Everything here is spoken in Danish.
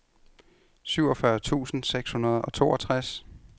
syvogfyrre tusind seks hundrede og toogtres